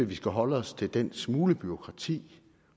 vi skal holde os til den smule bureaukrati